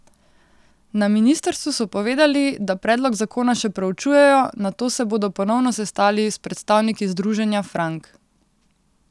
Na ministrstvu so povedali, da predlog zakona še preučujejo, nato se bodo ponovno sestali s predstavniki Združenja Frank.